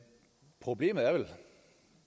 problemet er vel